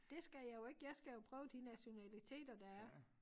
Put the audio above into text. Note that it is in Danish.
Dét skal jeg jo ik jeg skal jo prøve de nationaliteter der er